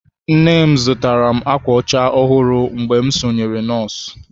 Nne m zụtara m ákwà ọcha ọhụrụ mgbe m sonyere nọọsụ.